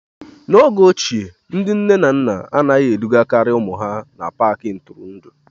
N'oge ochie, ndị nne na nna anaghị edugakarị ụmụ ha n'Paakị ntụrụndụ